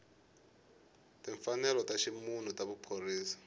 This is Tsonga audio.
timfanelo ta ximunhu na vuphorisasa